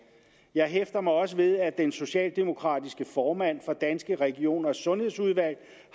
jeg hæfter mig også ved at den socialdemokratiske formand for danske regioners sundhedsudvalg